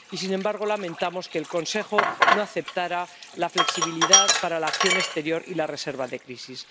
Y, sin embargo, lamentamos que el Consejo no aceptara la flexibilidad para la acción exterior y la reserva de crisis.